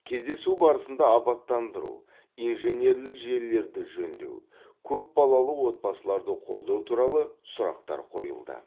кездесу барысында абаттандыру инженерлік желілерді жөндеу көпбалалы отбасыларды қолдау туралы сұрақтар қойылды